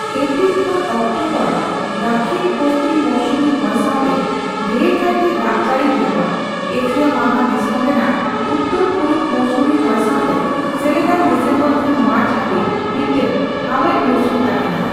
April ᱠᱷᱚᱱ October ᱫᱟᱹᱠᱷᱤᱚᱱᱼᱯᱚᱥᱪᱷᱤᱢ ᱢᱳᱣᱥᱩᱢᱤ ᱦᱚᱭ ᱥᱟᱣᱛᱮ ᱰᱷᱮᱨᱠᱟᱭᱛᱮ ᱫᱟᱜᱽᱡᱟᱹᱲᱤ ᱦᱩᱭᱩᱜᱼᱟ, ᱮᱥᱤᱭᱟ ᱢᱟᱦᱟ ᱫᱤᱥᱚᱢ ᱨᱮᱱᱟᱜ ᱩᱛᱛᱚᱨ ᱯᱩᱨᱩᱵ ᱢᱳᱣᱥᱩᱢᱤ ᱦᱚᱭ ᱥᱟᱣᱛᱮ ᱥᱮᱞᱮᱫᱟᱱ ᱰᱤᱥᱮᱢᱵᱚᱨ ᱠᱷᱚᱱ ᱢᱟᱨᱪ ᱦᱟᱹᱵᱤᱡᱽ ᱢᱤᱫᱴᱟᱝ ᱦᱟᱣᱮᱫ ᱢᱩᱨᱥᱩᱢ ᱛᱟᱦᱮᱱᱟ ᱾